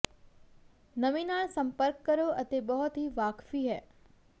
ਨਮੀ ਨਾਲ ਸੰਪਰਕ ਕਰੋ ਅਤੇ ਬਹੁਤ ਹੀ ਵਾਕਫੀ ਹੈ